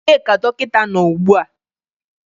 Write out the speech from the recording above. Ebee ka dọkịta nọ ugbu a?